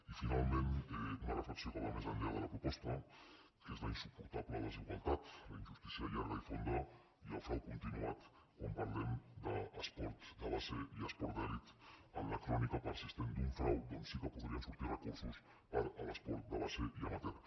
i finalment una reflexió que va més enllà de la proposta que és la insuportable desigualtat la injustícia llarga i fonda i el frau continuat quan parlem d’esport de base i esport d’elit en la crònica persistent d’un frau d’on sí que podrien sortir recursos per a l’esport de base i amateur